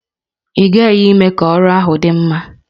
Ị ghaghị ime ka ọrụ ahụ dị mma!